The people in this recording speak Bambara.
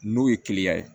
N'o ye kiliyan ye